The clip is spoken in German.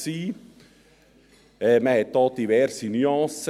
Wir hörten verschiedene Nuancen.